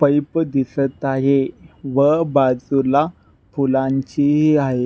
Pipe दिसत आहे व बाजुला फुलांची हि आहे.